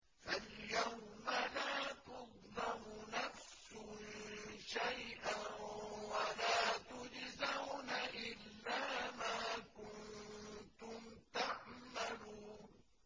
فَالْيَوْمَ لَا تُظْلَمُ نَفْسٌ شَيْئًا وَلَا تُجْزَوْنَ إِلَّا مَا كُنتُمْ تَعْمَلُونَ